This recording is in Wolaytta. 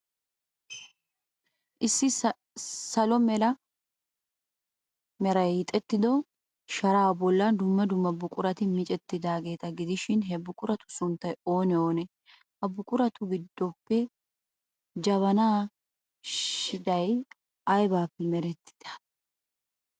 Issi salo mala meray hiixettido sharaa bollan dumma dumma buqurati miccettidaageeta gidishin, he buquratu sunttay oonee oonee? Ha buquratu giddoppe jabanaa shidhdhay aybippe merettidee?